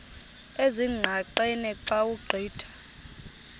ezingqaqeni xa ugqitha